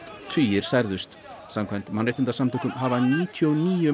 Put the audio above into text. tugir særðust samkvæmt mannréttindasamtökum hafa níutíu og níu